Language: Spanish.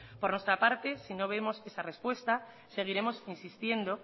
por nuestra parte si no vemos esa respuesta seguiremos insistiendo